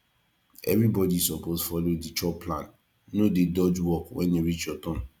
everybody suppose follow the chore plan no dey dodge work when e reach your turn